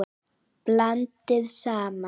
Blandið saman.